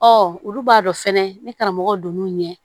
Ɔ olu b'a dɔn fɛnɛ ni karamɔgɔ don n'u ɲɛ